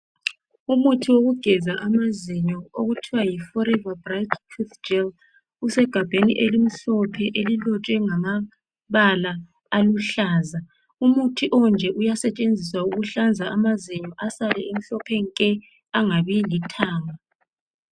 Umuthi wokugeza amazinyo okuthiwa yiForever bright tooth gel usegabheni elimhlophe elilotshwe ngamabala aluhlaza umuthi onje uyasetshenziswa ukuhlanza amazinyo asale emhlophe nke angabi lithanga